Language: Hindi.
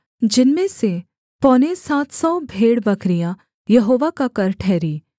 जिनमें से पौने सात सौ भेड़बकरियाँ यहोवा का कर ठहरीं